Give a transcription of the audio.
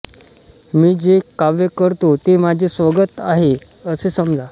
मी जे काव्य करतो ते माझे स्वगत आहे असे समजा